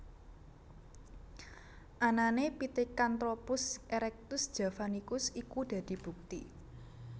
Anané Pithecantropus erectus javanicus iku dadi bukti